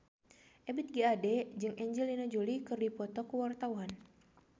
Ebith G. Ade jeung Angelina Jolie keur dipoto ku wartawan